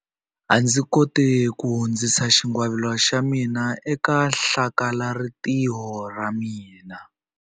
A ndzi koti ku hundzisa xingwavila xa mina eka hlakalarintiho ra ra mina.